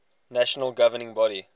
national governing body